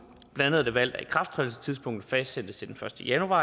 blandt andet har vi valgt at ikrafttrædelsestidspunktet fastsættes til den første januar